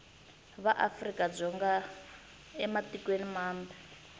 va afrika dzonga ematikweni mambe